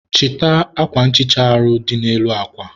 chịta akwa nhicha dị n'elu akwa